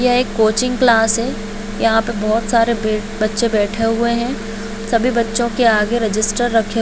यह एक coaching class है यहाँ पे बहुत सारे बे बच्चे बैठे हुएं हैं सभी बच्चो के आगे रेजिस्टर रखे --